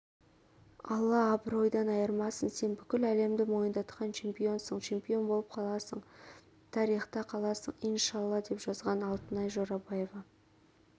алла абыройдан айырмасын сен бүкіл әлемді мойындатқан чемпионсың чемпион болып қаласың тариіта қаласың ин шаа алла деп жазған алтынай жорабаева